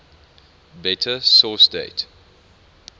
better source date